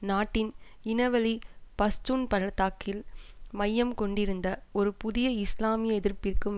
நாட்டின் இனவழி பஷ்டூன் பள்ளத்தாக்கில் மையம் கொண்டிருந்த ஒரு புதிய இஸ்லாமிய எதிர்ப்பிற்கும்